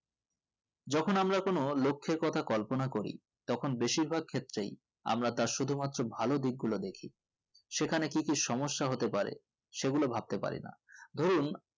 Joko আমরা কোনো লক্ষের কথা কল্পনা করি তখন বেশির ভাগ ক্ষেত্রে আমরা তার শুধু মাত্র ভালো দিক গুলো দেখি সেখানে কি কি সমস্যা হতে পারে সেগুলো ভাবতে পারি না ধুরুন